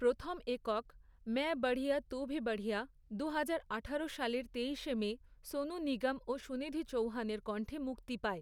প্রথম একক, 'ম্যায় বঢ়িয়া তু ভি বঢ়িয়া', দুহাজার আঠারো সালের তেইশে মে, সোনু নিগম ও সুনিধি চৌহানের কণ্ঠে মুক্তি পায়।